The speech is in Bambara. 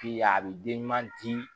Bi ya a bi den ɲuman di